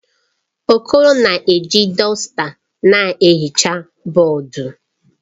Okoro na-eji dọsta na-ehicha bọọdụ.